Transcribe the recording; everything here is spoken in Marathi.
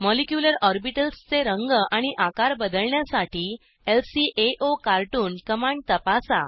मॉलिक्यूलर ऑर्बिटल्स चे रंग आणि आकार बदलण्यासाठी ल्काओकार्टून कमांड तपासा